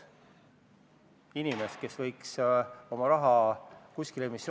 Milles siis ikkagi on probleem?